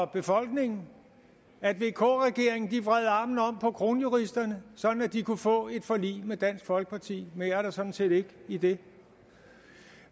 befolkningen at vk regeringen vred armen om på kronjuristerne så de kunne få et forlig med dansk folkeparti mere er der sådan set ikke i det